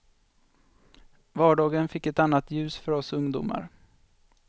Vardagen fick ett annat ljus för oss ungdomar.